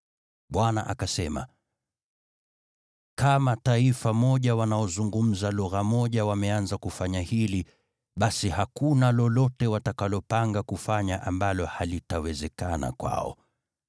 Bwana akasema, “Ikiwa kama taifa moja wanaozungumza lugha moja wameanza kufanya hili, basi hakuna lolote watakalopanga kufanya ambalo halitawezekana kwao.